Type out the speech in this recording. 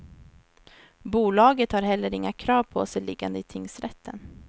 Bolaget har heller inga krav på sig liggande i tingsrätten.